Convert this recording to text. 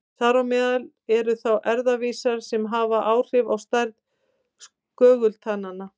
Þar á meðal eru þá erfðavísar sem hafa áhrif á stærð skögultanna.